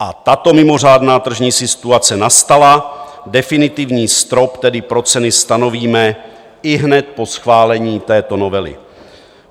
A tato mimořádná tržní situace na nastala, definitivní strop tedy pro ceny stanovíme ihned po schválení této novely.